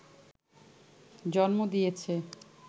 জন্ম দিয়েছে